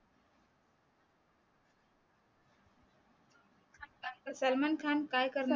सलमान खान काय करणार